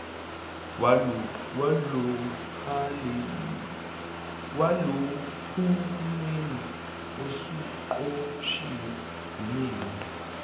walohulumeni usuqoshiwe yinina